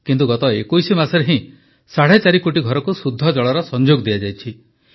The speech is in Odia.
କିନ୍ତୁ ଗତ 21 ମାସରେ ହିଁ ସାଢ଼େ ଚାରି କୋଟି ଘରକୁ ଶୁଦ୍ଧ ଜଳର ସଂଯୋଗ ଦିଆଯାଇଛି